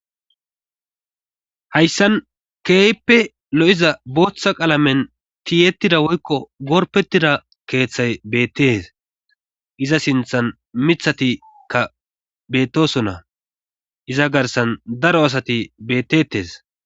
hayssan keeyppe lo7iza booththa qalamen tiyetida woykko gorpettida keeththay beettes iza sinthan mithatikka bettosonna iza garsan daro asati bettettes